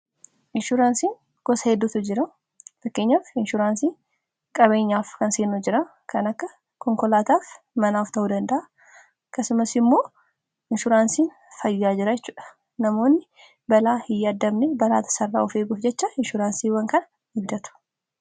Inshuraansiin gosa heddutu jira fakkeenyaaf inshuraansii qabeenyaaf kan akka konkolaataa, manaaf ta'uu danda'a akkasumas immoo inshuraansiin fayyaa jiraachuudha. Namoonni balaa hin yaaddamni balaa tasaa irraa of eeguuf jecha inshuraansiiwwan kan bitatu.